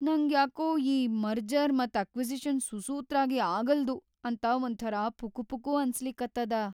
ನಂಗ್ಯಾಕೋ ಈ ಮರ್ಜರ್ ಮತ್‌ ಅಕ್ವಿಜೀಶನ್‌ ಸುಸೂತ್ರಾಗಿ ಆಗಲ್ದು ಅಂತ ಒಂಥರಾ ಪುಕುಪುಕು ಅನ್ಸಲಿಕತ್ತದ.